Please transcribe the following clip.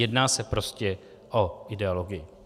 Jedná se prostě o ideologii.